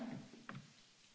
Herr Präsident!